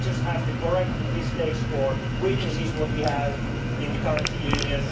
life any easier. We just have to correct the mistakes or weaknesses that we have in the